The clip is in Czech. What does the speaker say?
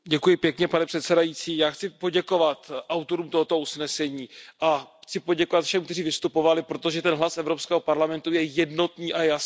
Pane předsedající, já chci poděkovat autorům tohoto usnesení a chci poděkovat všem, kteří vystupovali, protože ten hlas Evropského parlamentu je jednotný a jasný.